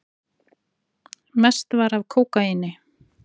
Mest var af kókaíni.